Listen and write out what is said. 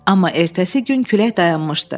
Amma ertəsi gün külək dayanmışdı.